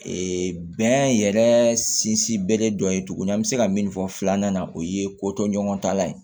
Ee bɛn yɛrɛ sinsin bere dɔ ye tuguni an bɛ se ka min fɔ filanan na o ye ko tɔ ɲɔgɔn talan ye